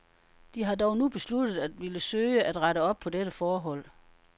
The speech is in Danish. De har dog nu besluttet at ville søge at rette op på dette forhold.